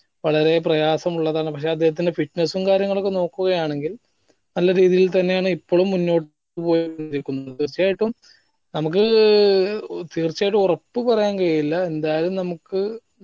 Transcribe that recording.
വളരെ പ്രയാസ്സമുള്ളതാണ് പക്ഷെ അദ്ദേഹത്തിന്റെ fitness ഉം കാര്യങ്ങളും ഒക്കെ നോക്കുക ആണെങ്കിൽ നല്ല രീതിയിൽ തന്നെ ആണ് ഇപ്പളും മുന്നോട്ട് പോയിക്കൊണ്ടിരിക്കുന്നത് തീർച്ചയായിട്ടും നമുക്ക് തീർച്ചയായിട്ടും ഉറപ്പ് പറയാൻ കഴിയില്ല എന്തായാലും നമുക്ക്